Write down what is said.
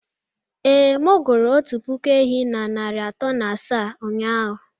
Ee, m gụrụ otu puku ehi na narị atọ na asaa ụnyahụ